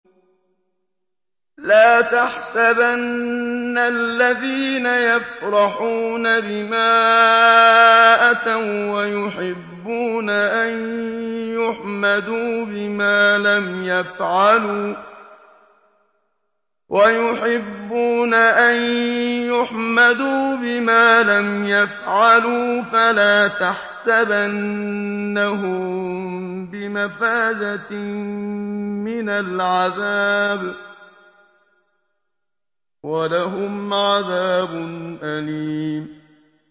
لَا تَحْسَبَنَّ الَّذِينَ يَفْرَحُونَ بِمَا أَتَوا وَّيُحِبُّونَ أَن يُحْمَدُوا بِمَا لَمْ يَفْعَلُوا فَلَا تَحْسَبَنَّهُم بِمَفَازَةٍ مِّنَ الْعَذَابِ ۖ وَلَهُمْ عَذَابٌ أَلِيمٌ